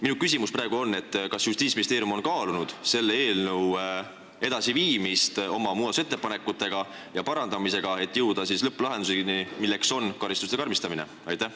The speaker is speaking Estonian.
Minu küsimus: kas Justiitsministeerium on kaalunud selle eelnõu edasiviimist oma muudatusettepanekute ja parandamisega, et jõuda lõpplahenduseni – karistuste karmistamiseni?